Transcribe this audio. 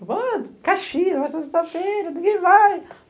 Falaram, ah, Caxias, vai ser sexta-feira, ninguém vai.